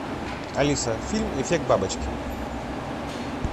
алиса фильм эффект бабочки